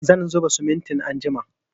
Zan zuba simintin anjima